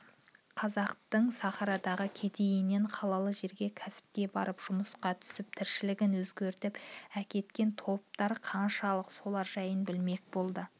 қазақтың сахарадағы кедейінен қалалы жерге кәсіпке барып жүмысқа түсіп тіршілігін өзгертіп әкеткен топтар қаншалық солар жайын білмек болды